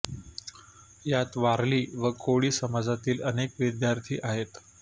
यात वारली व कोळी समाजातील अनेक विद्यार्थी आहेत